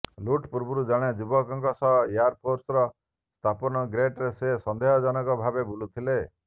ଲୁଟ୍ ପୂର୍ବରୁ ଜଣେ ଯୁବକଙ୍କ ସହ ଏୟାରପୋର୍ଟର ପ୍ରସ୍ଥାନ ଗେଟ୍ରେ ସେ ସନ୍ଦେହଜନକ ଭାବେ ବୁଲୁଥିଲେ